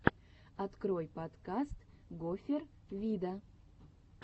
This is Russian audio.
открой подкаст гофер вида